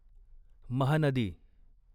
Mahanadi